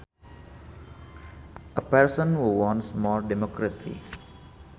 A person who wants more democracy